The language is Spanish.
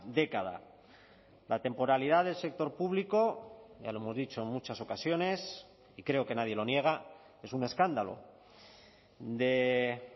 década la temporalidad del sector público ya lo hemos dicho en muchas ocasiones y creo que nadie lo niega es un escándalo de